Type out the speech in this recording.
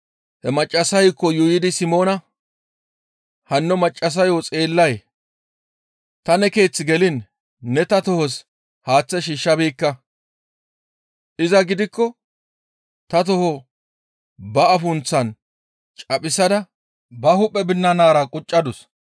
He maccassayko yuuyidi Simoona, «Hanno maccassayo xeellay? Ta ne keeththe geliin ne ta tohos haaththe shiishshabeekka; iza gidikko ta toho ba afunththan caphisada ba hu7e binanara quccadus.